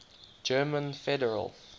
german federal